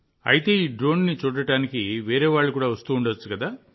అయితే ఈ డ్రోన్ని చూడటానికి వేరే వాళ్ళు కూడా వస్తుండవచ్చు